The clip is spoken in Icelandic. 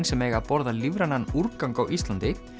sem eiga að borða lífrænan úrgang á Íslandi